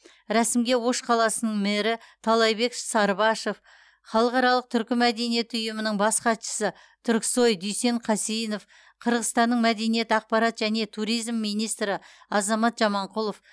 рәсімге ош қаласының мэрі таалайбек сарыбашов халықаралық түркі мәдениеті ұйымының бас хатшысы түрксой дүйсен қасейінов қырғызстанның мәдениет ақпарат және туризм министрі азамат жаманқұлов